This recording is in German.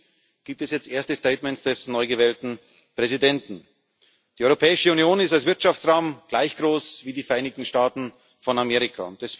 Allerdings gibt es jetzt erste Statements des neu gewählten Präsidenten. Die Europäische Union ist als Wirtschaftsraum gleich groß wie die Vereinigten Staaten von Amerika.